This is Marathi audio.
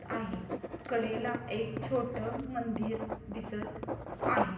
आहे. कडेला एक छोटं मंदिर दिसत आहे.